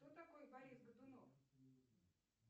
кто такой борис годунов